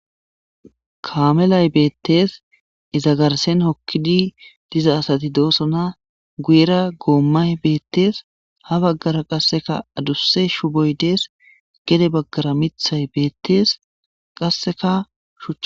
Kaamelay beettees izagarsen hokkidi diza asati doosona guyera goommay beettees ha baggara qasseka adusse shu boy dees gede baggara mithay beettees qasseka shuch.